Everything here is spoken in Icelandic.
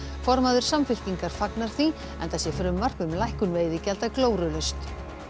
formaður Samfylkingar fagnar því enda sé frumvarp um lækkun veiðigjalda glórulaust